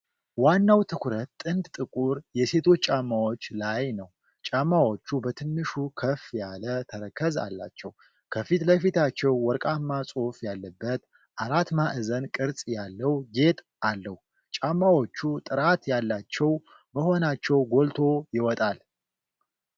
ዋናው ትኩረት ጥንድ ጥቁር የሴቶች ጫማዎች ላይ ነው። ጫማዎቹ በትንሹ ከፍ ያለ ተረከዝ አላቸው። ከፊት ለፊታቸው ወርቃማ ጽሑፍ ያለበት አራት ማዕዘን ቅርጽ ያለው ጌጥ አለው። ጫማዎቹ ጥራት ያላቸው መሆናቸው ጎልቶ ይወጣል።